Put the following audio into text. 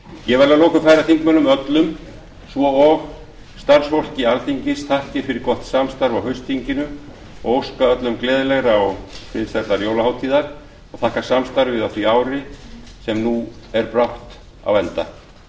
ég vil að lokum færa þingmönnum öllum svo og starfsfólki alþingis þakkir fyrir gott samstarf á haustþinginu og óska öllum gleðilegrar og friðsællar jólahátíðar og þakka samstarfið á því ári sem nú er brátt á enda